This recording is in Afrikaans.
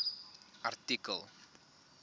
artikel